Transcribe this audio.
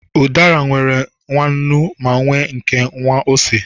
Udara nwere nwa nnu, ma nwee nke nwa ose.